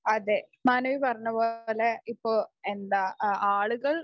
അതേ മാനസി പറഞ്ഞ പോലെ ഇപ്പോ എന്താ ആളുകൾ